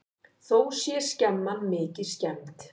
Þá sé skemman mikið skemmd.